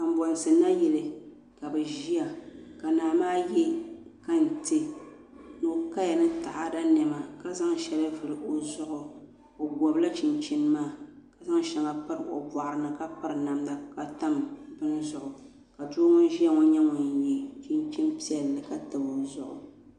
Kanbonsi nayili ka bi ʒiya ka naa maa yɛ kantɛ ni bi kaya ni taada niɛma ka zaŋ shɛŋa vuli o zuɣu o gobila chinchin maa ka zaŋ shɛŋa pob o boɣari ni ka piri namda ka piri bini zuɣu ka doo ŋun ʒiya ŋo nyɛ ŋun yɛ chinchin piɛlli ka tabi o zuɣu